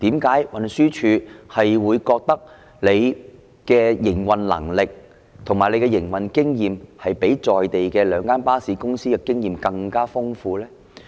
為何運輸署會認為其營運能力及經驗較在地的兩間巴士公司更豐富呢？